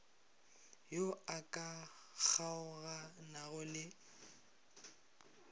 yo a ka kgaoganago le